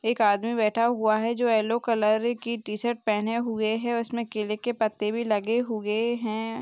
एक आदमी बैठा हुआ है जो येल्लो कलर की टी- शर्ट पहने हुये है उसमें केले के पत्ते भी लगे हुए हैं।